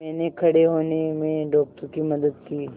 मैंने खड़े होने में डॉक्टर की मदद की